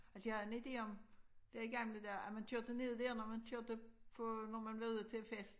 Altså jeg har en ide om dér i gamle dage at man kørte ned der når man kørte på når man ville ud til fest